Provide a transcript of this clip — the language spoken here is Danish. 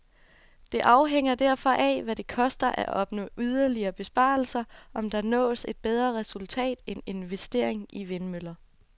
Det afhænger derfor af, hvad det koster at opnå yderligere besparelser, om der nås et bedre resultat end investering i vindmøller.